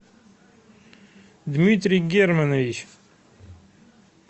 дмитрий германович